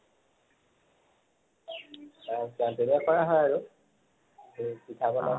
হয় আৰু